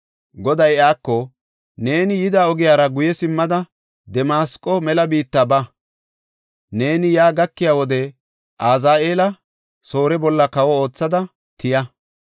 Goday iyako, “Neeni yida ogiyara guye simmada Damasqo mela biitta ba. Neeni yaa gakiya wode Azaheela, Soore bolla kawo oothada tiya.